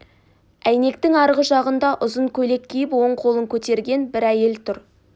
әйнектің арғы жағында ұзын көйлек киіп оң қолын көтерген бір әйел тұр